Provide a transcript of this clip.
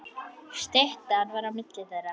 Styttan var á milli þeirra.